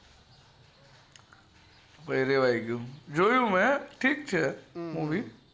પછી રેહવાય ગયું જોયું મેં ઠીક છે movie